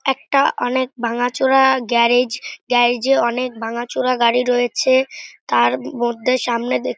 একটা অনেক ভাঙাচোরা গ্যারেজ গ্যারেজ এ অনেক ভাঙাচোরা গাড়ি রয়েছে তার মধ্যে সামনে দেখতে--